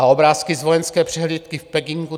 A obrázky z vojenské přehlídky v Pekingu?